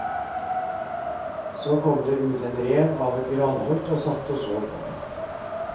Så kom det ut en rev av et granholt og satt og så på.